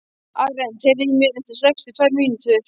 Arent, heyrðu í mér eftir sextíu og tvær mínútur.